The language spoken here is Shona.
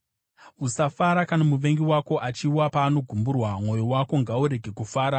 Usafara kana muvengi wako achiwa; paanogumburwa, mwoyo wako ngaurege kufara,